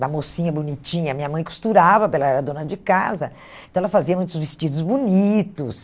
da mocinha bonitinha, minha mãe costurava, pela ela era dona de casa, então ela fazia muitos vestidos bonitos.